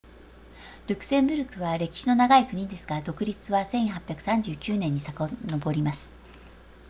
ルクセンブルクは歴史の長い国ですが独立は1839年に遡ります